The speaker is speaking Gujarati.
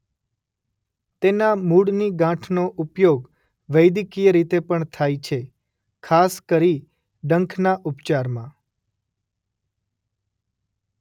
તેના મૂળની ગાંઠનો ઉપયોગ વૈદકીય રીતે પણ થાય છે ખાસ કરી ડંખના ઉપચારમાં.